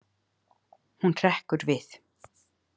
Hún hrekkur við.